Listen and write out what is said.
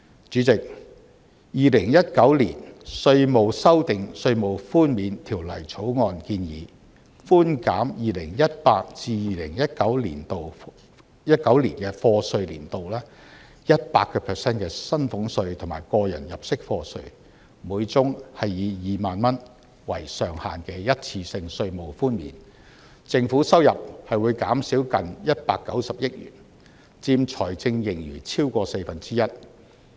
主席，《2019年稅務條例草案》建議寬減 2018-2019 課稅年度 100% 的薪俸稅和個人入息課稅，每宗個案以2萬元為上限的一次性稅務寬免，政府收入會因而減少近190億元，佔財政盈餘超過四分之一。